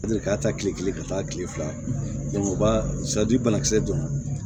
A deli ka taa kile kelen ka taa kile fila kɛ u b'a banakisɛ don